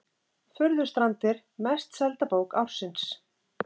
Furðustrandir mest selda bók ársins